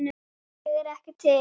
Ég er ekki til.